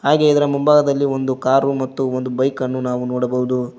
ಹಾಗೆ ಇದರ ಮುಂಭಾಗದಲ್ಲಿ ಒಂದು ಕಾರು ಮತ್ತು ಒಂದು ಬೈಕ್ ಅನ್ನು ನಾವು ನೋಡಬಹುದು.